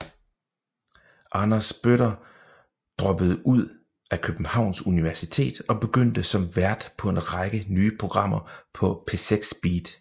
Anders Bøtter droppede ud af Københavns Universitet og begyndte som vært på en række nye programmer på P6 BEAT